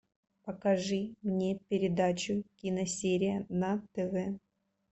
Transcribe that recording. покажи мне передачу киносерия на тв